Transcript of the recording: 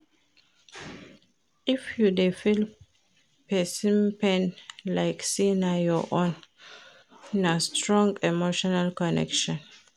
If you dey feel pesin pain like sey na your own, na strong emotional connection.